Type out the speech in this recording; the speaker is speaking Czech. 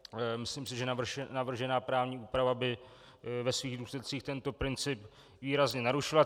Myslím si, že navržená právní úprava by ve svých důsledcích tento princip výrazně narušila.